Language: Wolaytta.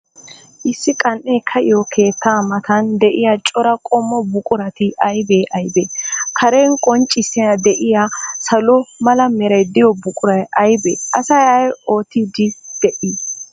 Issi qan''ee ka''iyo keettaa matan de'iya cora qommo buqurati aybee aybee? Karen qoncciyan de'iya salo mala meray de'iyo buquray aybee? Asay ay oottiiddi de'ii?